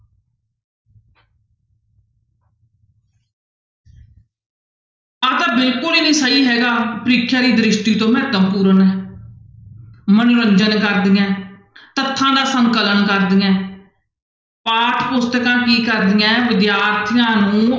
ਆਹ ਤਾਂ ਬਿਲਕੁਲ ਹੀ ਨੀ ਸਹੀ ਹੈਗਾ ਪ੍ਰੀਖਿਆ ਦੀ ਦ੍ਰਿਸ਼ਟੀ ਤੋਂ ਮਹੱਤਵਪੂਰਨ ਹੈ, ਮਨੋਰੰਜਨ ਕਰਦੀਆਂ ਹੈ, ਤੱਥਾਂ ਦਾ ਸੰਕਲਨ ਕਰਦੀਆਂ ਹੈ, ਪਾਠ ਪੁਸਤਕਾਂ ਕੀ ਕਰਦੀਆਂ ਹੈ ਵਿਦਿਆਰਥੀਆਂ ਨੂੰ